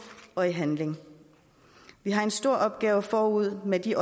og i handling vi har en stor opgave forude med de